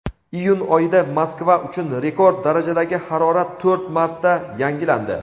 iyun oyida Moskva uchun rekord darajadagi harorat to‘rt marta yangilandi.